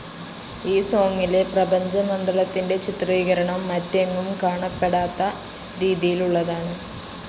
ഈ സോങിലെ പ്രപഞ്ച മണ്ഡലത്തിൻ്റെ ചിത്രീകരണം മറ്റെങ്ങും കാണപ്പെടാത്ത രീതിയിലുള്ളതാണ്.